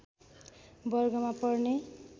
वर्गमा पर्ने